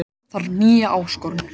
Þarf nýja áskorun